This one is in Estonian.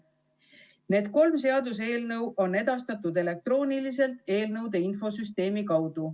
Need kolm seaduseelnõu on edastatud elektrooniliselt eelnõude infosüsteemi kaudu.